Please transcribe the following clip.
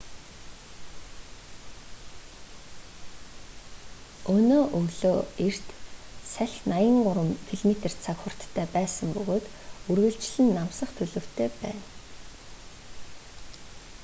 өнөө өглөө эрт салхи 83 км/цаг хурдтай байсан бөгөөд үргэлжлэн намсах төлөвтэй байна